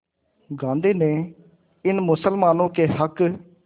गांधी ने इन मुसलमानों के हक़